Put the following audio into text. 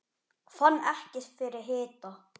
Fann ekki fyrir hita